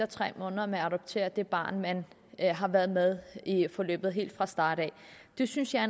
tre måneder med at adoptere det barn man har været med i forløbet om helt fra starten af det synes jeg